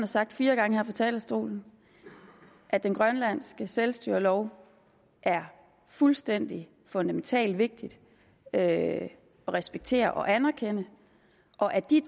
sagt fire gange her fra talerstolen at den grønlandske selvstyrelov er fuldstændig fundamentalt vigtig at respektere og anerkende og at de